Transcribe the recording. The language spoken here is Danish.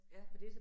Ja